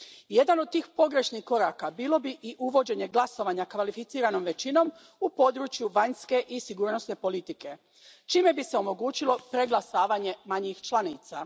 Jedan od tih pogrešnih koraka bilo bi i uvođenje glasovanja kvalificiranom većinom u području vanjske i sigurnosne politike, čime bi se omogućilo preglasavanje manjih članica.